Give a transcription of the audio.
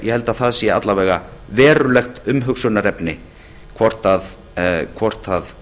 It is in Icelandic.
ég held að það sé að minnsta kosti verulegt umhugsunarefni hvort það